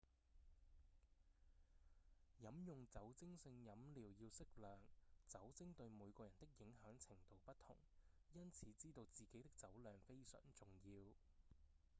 飲用酒精性飲料要適量酒精對每個人的影響程度不同因此知道自己的酒量非常重要